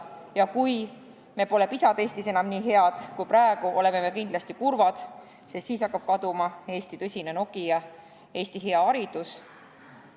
Ja kui me pole PISA testis varsti enam nii head kui praegu, oleme me kindlasti kurvad, sest siis hakkab kaduma Eesti tegelik Nokia, Eesti hea haridus.